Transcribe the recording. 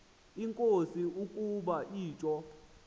enkosi ukuba utsho